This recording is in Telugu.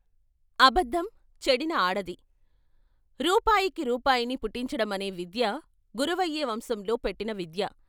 అబద్ధం చెడినఆడది రూపాయికి రూపాయిని పుట్టించడమనే విద్య గురవయ్య వంశంలో పెట్టిన విద్య.